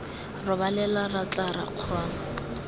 robalela ra tla ra kgona